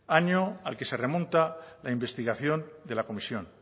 año al que se remonta la investigación de la comisión